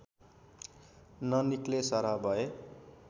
ननिक्लेसरह भए